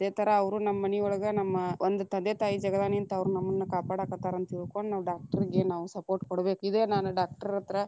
ಅದೇ ಥರಾ ಅವ್ರು ನಮ್ಮ ಮನಿಯೊಳಗ ನಮ್ಮ ಒಂದ ತಂದೆ ತಾಯಿ ಜಗದಾಗ ನಿಂತ ಅವ್ರ್‌ ನಮ್ಮನ್ನ ಕಾಪಾಡಾಕತ್ತಾರಂತ ತಿಳಕೊಂಡ ನಾವು doctor ಗೆ ನಾವು support ಕೊಡಬೇಕ, ಇದೇ ನಾನ doctor ಹತ್ರಾ.